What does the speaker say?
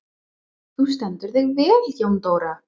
Þú stendur þig vel, Jóndóra!